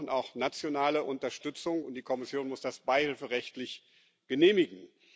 Wir brauchen auch nationale Unterstützung, und die Kommission muss das beihilferechtlich genehmigen.